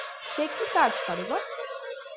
কি কাজ করে গো